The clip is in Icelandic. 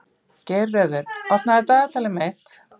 Geirröður, opnaðu dagatalið mitt.